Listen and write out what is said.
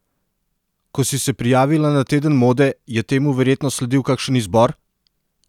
Ko si se prijavila na teden mode, je temu verjetno sledil kakšen izbor?